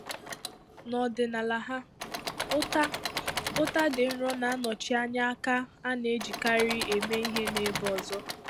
N'ọdịnala ha, ụta ụta dị nro na-anọchi anya aka a na-ejikarị eme ihe n'ebe ọzọ.